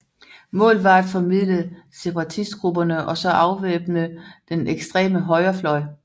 Målet var at formilde separatistgrupperne og så afvæbne den ekstreme højrefløj